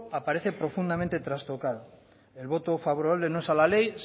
aparece profundamente trastocado el voto favorable no es a la ley